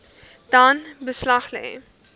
dan beslag lê